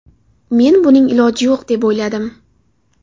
Men buning iloji yo‘q deb o‘yladim.